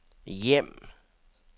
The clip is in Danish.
hjem